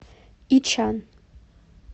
ичан